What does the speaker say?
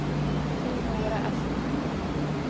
Eleonora Östman